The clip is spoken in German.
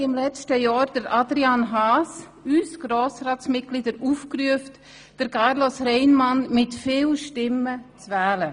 Im vergangenen Jahr hat Adrian Haas uns Grossratsmitglieder an dieser Stelle dazu aufgerufen, Carlos Reinhard mit vielen Stimmen zu wählen.